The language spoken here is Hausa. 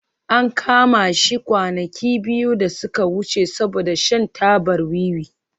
An kama shi kwanaki biyu da suka wuce saboda shan tabar wiwi